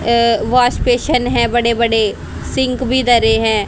अ wash basin है बड़े बड़े सिंक भी दरे हैं।